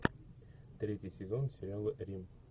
третий сезон сериала рим